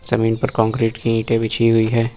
जमीन पर कंक्रीट की ईंटे बिछी हुई है।